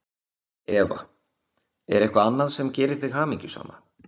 Eva: Er eitthvað annað sem gerir þig hamingjusama?